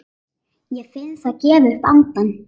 Ég finn það gefa upp andann.